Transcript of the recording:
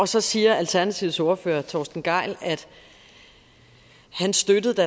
så siger alternativets ordfører torsten gejl at han støttede det